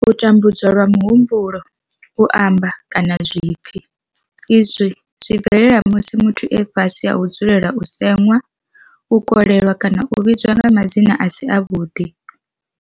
U tambudzwa lwa muhumbulo, u amba, kana zwipfi, Izwi zwi bvelela musi muthu e fhasi ha u dzulela u semiwa, u kolelwa kana u vhidzwa nga madzina a si avhuḓi.